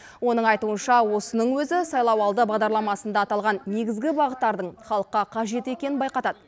оның айтуынша осының өзі сайлауалды бағдарламасында аталған негізгі бағыттардың халыққа қажет екенін байқатады